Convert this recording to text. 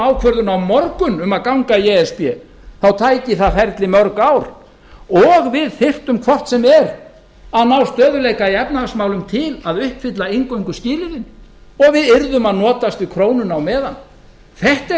ákvörðun á morgun um að ganga í e s b þá ætti það ferli mörg ár og við þyrftu hvort sem er að ná stöðugleika í efnahagsmálum til að uppfylla inngönguskilyrðin og við yrðum að notast við krónuna á meðan þetta